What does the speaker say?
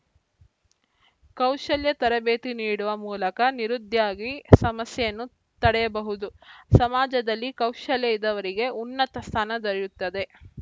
ಕೌಶಲ್ಯ ತರಬೇತಿ ನೀಡುವ ಮೂಲಕ ನಿರುದ್ಯಾಗಿ ಸಮಸ್ಯೆಯನ್ನು ತಡೆಯಬಹುದು ಸಮಾಜದಲ್ಲಿ ಕೌಶಲ್ಯ ಇದ್ದವರಿಗೆ ಉನ್ನತ ಸ್ಥಾನ ದೊರೆಯುತ್ತದೆ